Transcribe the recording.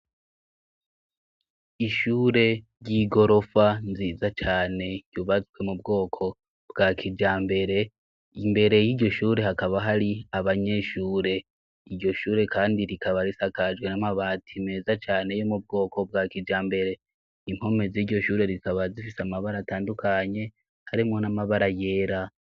Ishure ry'igorofa nziza cane yubatswe mu bwoko bwa kijambere; imbere y'iryoshure hakaba hari abanyeshure. Iryo shure kandi rikaba risakajwe n'amabati meza cane yo mu bwoko bwa kijambere. Impome z'iryo shure rikaba zifise amabara atandukanye, harimwo n'amabara yera.